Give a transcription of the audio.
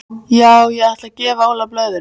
Já ég ætla að gefa Óla blöðrur.